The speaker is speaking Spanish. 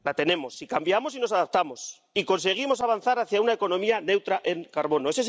La tenemos si cambiamos y nos adaptamos y conseguimos avanzar hacia una economía neutra en carbono.